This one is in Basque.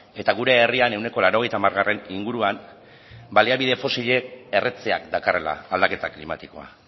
eta gure herrian ehuneko laurogeita hamar inguruan baliabide fosilek erretzeak dakarrela aldaketa klimatikoa